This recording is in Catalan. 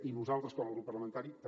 i nosaltres com a grup parlamentari també